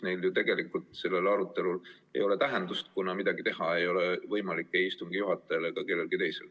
Nii et tegelikult sellel arutelul ei ole tähendust, kuna midagi ei ole võimalik teha ei istungi juhatajal ega kellelgi teisel.